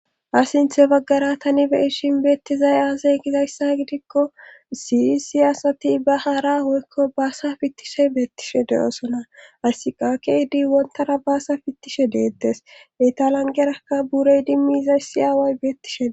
Ha sinthe baggara tani be7ishin beettizay aasay gizayssa gidikko siyi siyaasati ba haara hoykko baasa fittishe beettishe de7oosona asiqakeydi wontara baasa fittishe deettes etalangerakka burey dimmi izay si aaway beettishee.